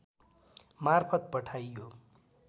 मार्फत पठाइयो